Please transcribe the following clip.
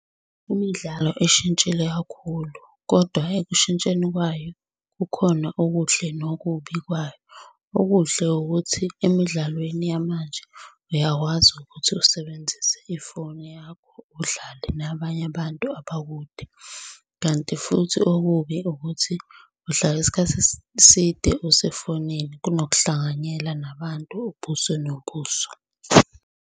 Imidlalo ishintshile kakhulu, kodwa ekushintsheni kwayo kukhona okuhle nokubi kwayo. Okuhle ukuthi emidlalweni yamanje uyakwazi ukuthi usebenzise ifoni yakho udlale nabanye abantu abakude, kanti futhi okubi ukuthi uhlala isikhathi eside usefonini kunokuhlanganyela nabantu ubuso nobuso.